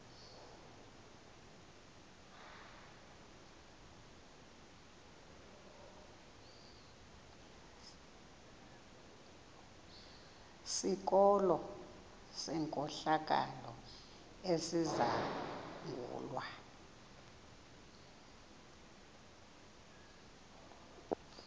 sikolo senkohlakalo esizangulwa